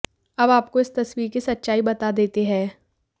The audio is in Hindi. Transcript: अब आपको इस तस्वीर कि सच्चाई बता देते हैं